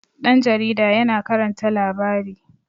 ɗan jaarida yana karanta labari